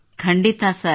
ಖಂಡಿತ ಸರ್